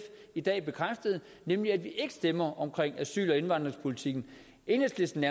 i dag bekræftede nemlig at vi ikke stemmer om asyl og indvandringspolitikken enhedslisten